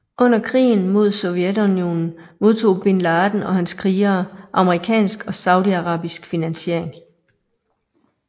Under krigen mod Sovjetunionen modtog bin Laden og hans krigere amerikansk og saudiarabisk finansiering